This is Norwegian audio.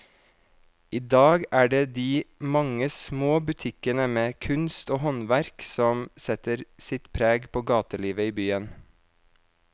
I dag er det de mange små butikkene med kunst og håndverk som setter sitt preg på gatelivet i byen.